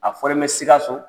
A fɔlen bɛ Sikaso